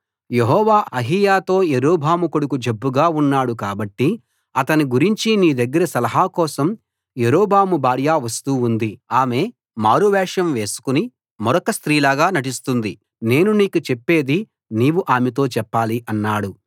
యెహోవా అహీయాతో యరొబాము కొడుకు జబ్బుగా ఉన్నాడు కాబట్టి అతని గురించి నీ దగ్గర సలహా కోసం యరొబాము భార్య వస్తూ ఉంది ఆమె మారువేషం వేసుకుని మరొక స్త్రీలాగా నటిస్తుంది నేను నీకు చెప్పేది నీవు ఆమెతో చెప్పాలి అన్నాడు